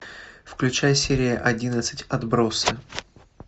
включай серия одиннадцать отбросы